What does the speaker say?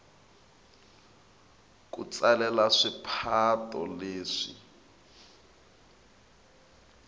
ku tsalela swipato leswi